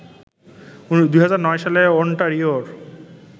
২০০৯ সালে অন্টারিওর